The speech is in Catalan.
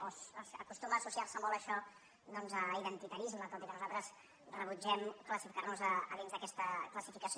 o acostuma a associarse molt a això doncs a identitarisme tot i que nosaltres rebutgem classificarnos a dins d’aquesta classificació